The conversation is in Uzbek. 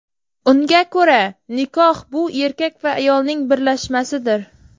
Unga ko‘ra nikoh bu erkak va ayolning birlashmasidir.